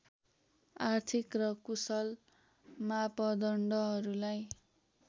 आर्थिक र कुशल मापदण्डहरूलाई